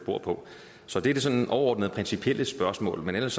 bor på så det er sådan overordnede principielle spørgsmål men ellers